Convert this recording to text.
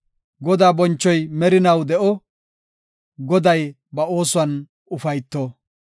Godaa bonchoy merinaw de7o; Goday ba oosuwan ufayto.